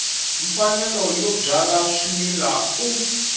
mfanelo yo byala swimila u